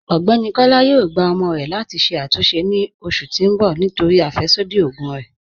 Ọgbẹ́ni Kọla yóò gbà ọ̀mọ rè láti ṣè àtúnṣe ni oṣù tì n bọ̀ nítorí afẹ́ṣodí ogun rè.